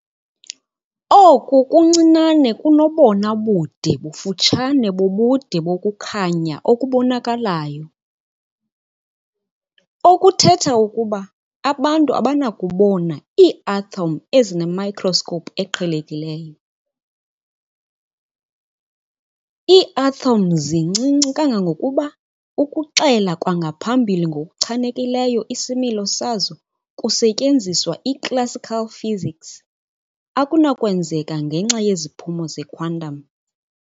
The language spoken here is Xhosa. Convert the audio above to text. Oku kuncinane kunobona bude bufutshane bobude bokukhanya okubonakalayo, okuthetha ukuba abantu abanakubona iiathom ezinemikroskopu eqhelekileyo. Iiathom zincinci kangangokuba ukuxela kwangaphambili ngokuchanekileyo isimilo sazo kusetyenziswa i-classical physics akunakwenzeka ngenxa yeziphumo zequantum.